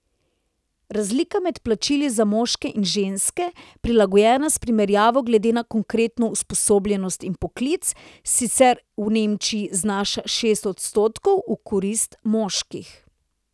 Razlika med plačili za moške in ženske, prilagojena s primerjavo glede na konkretno usposobljenost in poklic, sicer v Nemčiji znaša šest odstotkov v korist moških.